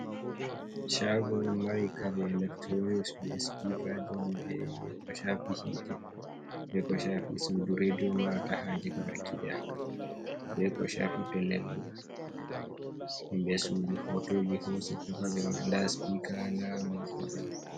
Chago mari kare electrons, be spikaji be ko shafi hitte be ko chafi sudu radio marata haje gabaki daya, be ko shafi pellel himɓɓe sudu hotoji fu hosi nda spika nda kuje.